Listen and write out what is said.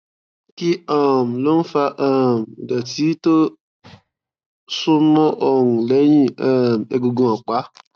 kí um ló ń fa um ìdọtí tó súnmọ ọrùn lẹyìn um egungun ọpá